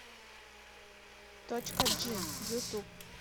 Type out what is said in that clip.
точка джи ютуб